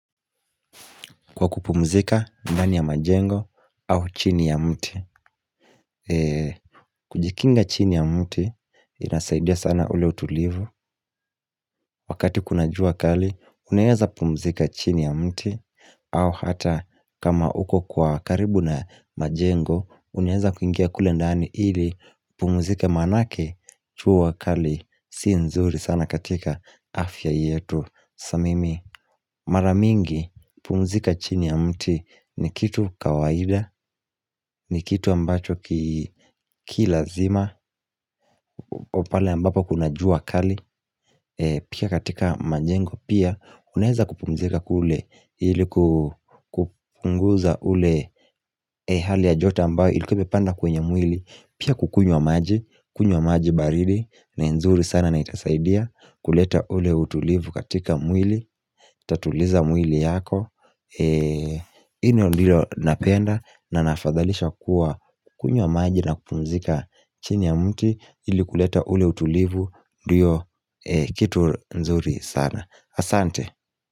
Kwa kupumzika ndani ya majengo au chini ya mti kujikinga chini ya mti inasaidia sana ule utulivu Wakati kuna jua kali unaeza pumzika chini ya mti au hata kama uko kwa karibu na majengo Unaeza kuingia kule ndani ili pumzika manake jua kali si nzuri sana katika afya yetu samimi Maramingi pumzika chini ya mti ni kitu kawaida ni kitu ambacho kilazima Opala ambapo kuna jua kali Pia katika majengo pia Unaeza kupumzika kule ili kupunguza ule hali ya joto ambayo Ilikuwa imepanda kwenye mwili Pia kukunywa maji kunywa maji baridi ni nzuri sana na itasaidia kuleta ule utulivu katika mwili Tatuliza mwili yako Ino liyo napenda na nafadhalisha kuwa kukunywa maji na kupumzika chini ya mti ili kuleta ule utulivu ndio kitu nzuri sana Asante.